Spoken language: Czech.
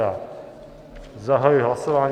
Já zahajuji hlasování.